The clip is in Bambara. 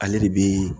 Ale de bi